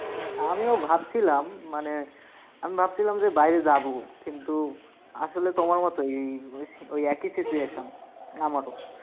আমিও ভাবছিলাম মানে আমি ভাবছিলাম যে বাইরে যাবো। কিন্তু আসলে তোমার মতোই এই মানে ওই একই situation আমারও।